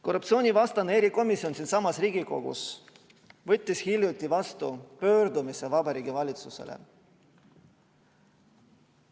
Korruptsioonivastane erikomisjon siinsamas Riigikogus võttis hiljuti vastu pöördumise Vabariigi Valitsuse poole.